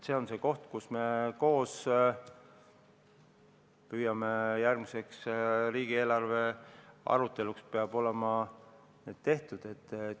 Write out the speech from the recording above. See on see koht, kus me koos püüame saavutada, et järgmises riigieelarves oleks see tehtud.